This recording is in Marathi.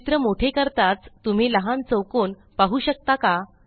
चित्र मोठे करताच तुम्ही लहान चौकोन पाहू शकता का